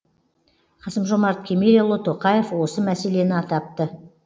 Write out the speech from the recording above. қасым жомарт кемелұлы тоқаев осы мәселені атапты